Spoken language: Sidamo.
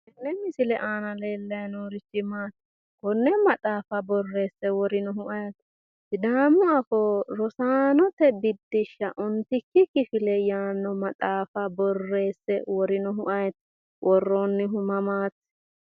Tenne misile aana leellanni noorichi maati konne maxaafa borreesse worinohu ayeeti? Sidaamu afoo rosaanote biddishsha ontikki kifile rosaanote maxaafa borreesse worinohu ayeeti? Worroonnihu mamaati?